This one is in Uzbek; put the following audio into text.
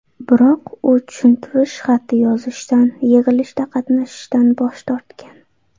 Biroq u tushuntirish xati yozishdan, yig‘ilishda qatnashishdan bosh tortgan.